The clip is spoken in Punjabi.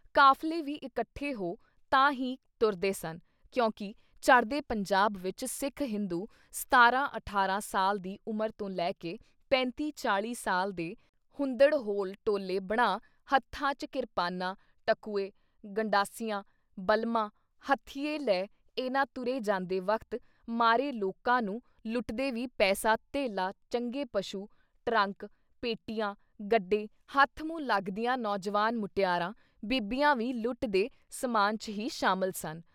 ਕਾਫ਼ਲੇ ਵੀ ਇੱਕਠੇ ਹੋ ਤਾਂ ਹੀ ਤੁਰਦੇ ਸਨ ਕਿਉਂਕਿ ਚੜ੍ਹਦੇ ਪੰਜਾਬ ਵਿੱਚ ਸਿੱਖ ਹਿੰਦੂ ਸਤਾਰਾਂ-ਅਠਾਰਾਂ ਸਾਲ ਦੀ ਉਮਰ ਤੋਂ ਲੈ ਕੇ ਪੈਂਤੀ-ਚਾਲੀ ਸਾਲ ਦੇ ਹੁੰਦੜ ਹੋਲ ਟੋਲੇ ਬਣਾ ਹੱਥਾਂ ਚ ਕਿਰਪਾਨਾਂ ਟਕੂਏ, ਗੰਢਾਸੀਆਂ, ਬਲਮ੍ਹਾਂ, ਹੱਥੀਏ ਲੈ ਇਹਨਾਂ ਤੁਰੇ ਜਾਂਦੇ ਵਖ਼ਤ ਮਾਰੇ ਲੋਕਾਂ ਨੂੰ ਲੁੱਟਦੇ ਵੀ ਪੈਸਾ ਧੇਲਾ ਚੰਗੇ ਪਸ਼ੂ, ਟਰੰਕ, ਪੇਟੀਆਂ, ਗੱਡੇ ਹੱਥ-ਮੂੰਹ ਲੱਗਦੀਆਂ ਨੌਜਵਾਨ ਮੁਟਿਆਰਾਂ, ਬੀਬੀਆਂ ਵੀ ਲੁੱਟ ਦੇ ਸਮਾਨ 'ਚ ਹੀ ਸ਼ਾਮਿਲ ਸਨ।